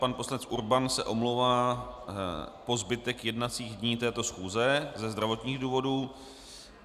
Pan poslanec Urban se omlouvá po zbytek jednacích dní této schůze ze zdravotních důvodů.